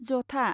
जथा